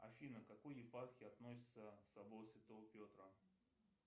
афина к какой епархии относится собор святого петра